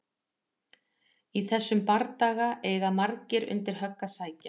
Í þessum bardaga eiga margir undir högg að sækja!